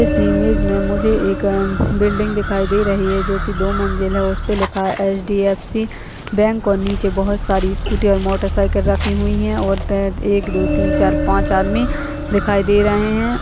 इस इमेज में मुझे एक उम बिल्डिंग दिखाई दे रही है जो कि दो मंजिल है उसे पर लिखा एच.डी.एफ.सी. बैंक और नीचे बहुत सारी स्कूटि और मोटर साइकिल रखी हुई है और द एक दो तीन चार पांच आदमी दिखाई दे रहे हैं--